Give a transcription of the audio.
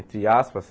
Entre aspas.